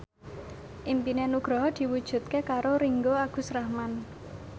impine Nugroho diwujudke karo Ringgo Agus Rahman